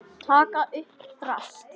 Taka upp drasl.